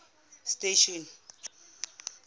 station